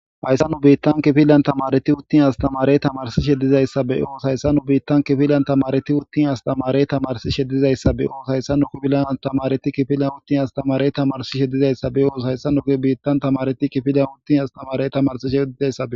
Hayssa nu biittan kifilan tamareti uttin astamarey tamarsi she dizayssabe oos hayssa nu biittan kifilan tamareti uttin astamarey tamarsi shedizayssabe oos hayssa nu kifilan atamareti kifilan uttin astamarey tamarsishedizayssabe ooso hayssa nuge biittan tamareti kifilan uttin astamarey tamarsishe wdidayssae.